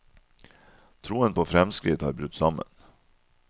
Troen på fremskritt har brutt sammen.